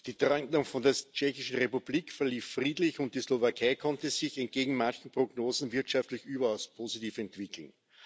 Die Trennung von der Tschechischen Republik verlief friedlich, und die Slowakei konnte sich entgegen mancher Prognosen wirtschaftlich überaus positiv entwickeln.